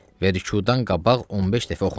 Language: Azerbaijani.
Və rükudan qabaq 15 dəfə oxunur.